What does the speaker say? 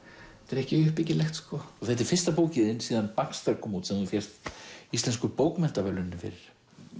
er ekki uppbyggilegt þetta er fyrsta bókin þín síðan kom út sem þú fékkst Íslensku bókmenntaverðlaunin fyrir